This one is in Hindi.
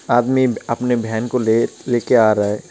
आदमी अपने भेन को ले-लेके आ रहा है.